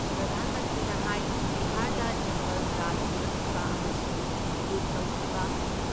ꯄ꯭ꯔꯙꯥꯟ ꯃꯟꯇ꯭ꯔꯤꯅ ꯍꯥꯏ ꯕꯤꯍꯥꯔꯗ ꯖꯪꯒꯜ ꯔꯥꯖ ꯄꯨꯔꯛꯈꯤꯕ ꯑꯃꯁꯨꯡ ꯂꯨꯠ ꯇꯧꯈꯤꯕ